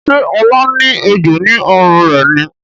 Ṣe Ola ní egbò ní ọrùn rẹ ní?